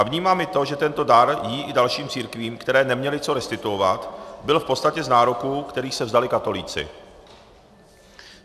A vnímám i to, že tento dar jí i dalším církvím, které neměly co restituovat, byl v podstatě z nároků, kterých se vzdali katolíci.